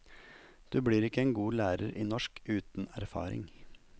Du blir ikke en god lærer i norsk uten erfaring.